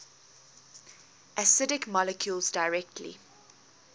acidic molecules directly